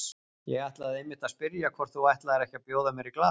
Ég ætlaði einmitt að spyrja hvort þú ætlaðir ekki að bjóða mér í glas.